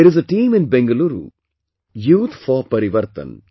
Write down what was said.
There is a team in Bangalore Youth for Parivartan